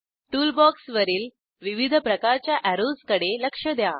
tool बॉक्सवरील विविध प्रकारच्या अॅरोजकडे लक्ष द्या